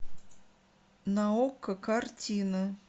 на окко картины